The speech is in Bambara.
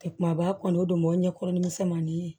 kumaba kɔni o don o ɲɛ kɔrɔ ni misɛnmani ye